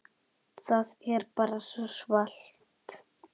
Það er bara svo svalt.